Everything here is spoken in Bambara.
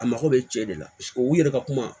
A mago bɛ cɛ de la paseke u yɛrɛ ka kuma